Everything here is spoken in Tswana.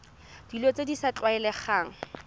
dilo tse di sa tlwaelegang